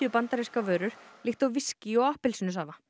bandarískar vörur líkt og viskí og appelsínusafa